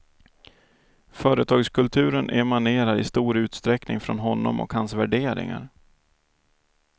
Företagskulturen emanerar i stor utsträckning från honom och hans värderingar.